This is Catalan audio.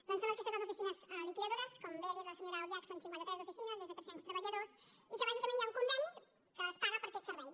doncs són aquestes les oficines liquidadores com bé ha dit la senyora albiach són cinquanta tres oficines més de tres cents treballadors i que bàsicament hi ha un conveni que es paga per aquest servei